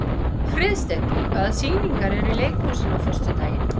Friðsteinn, hvaða sýningar eru í leikhúsinu á föstudaginn?